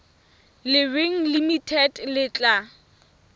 le reng limited le tla